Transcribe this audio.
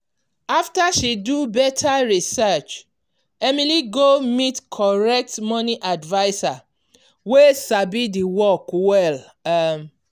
after she do better research emily go meet correct money adviser wey sabi the work well. um